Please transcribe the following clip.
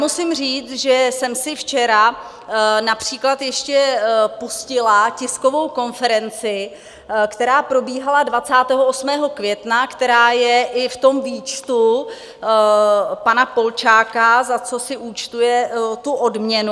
Musím říct, že jsem si včera například ještě pustila tiskovou konferenci, která probíhala 28. května, která je i v tom výčtu pana Polčáka, za co si účtuje tu odměnu.